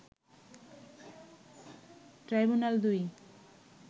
ট্রাইব্যুনাল-২